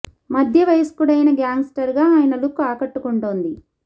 మధ్య వయస్కుడైన gangster గా ఆయన లుక్ ఆకట్టుకుంటోంది